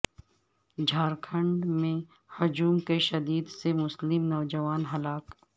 جھارکھنڈ میں ہجوم کے تشدد سے مسلم نوجوان ہلاک